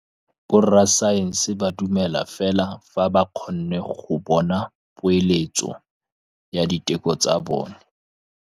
Borra saense ba dumela fela fa ba kgonne go bona poeletsô ya diteko tsa bone.